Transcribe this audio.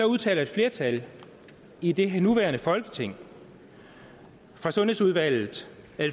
udtalte et flertal i det nuværende folketings sundhedsudvalg et